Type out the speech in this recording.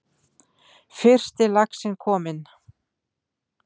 Fyrsti laxinn kominn